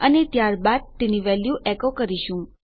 અને ત્યારબાદ તેની વેલ્યુ એકો કરીશું